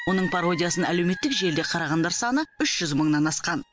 оның пародиясын әлеуметтік желіде қарағандар саны үш жүз мыңнан асқан